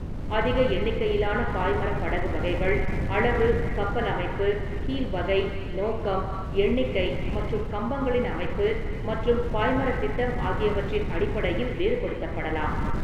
அதிக எண்ணிக்கையிலான பாய்மரப் படகு வகைகள் அளவு, கப்பல் அமைப்பு, கீல் வகை, நோக்கம், எண்ணிக்கை மற்றும் கம்பங்களின் அமைப்பு மற்றும் பாய்மரத் திட்டம் ஆகியவற்றின் அடிப்படையில் வேறுபடுத்தப்படலாம்.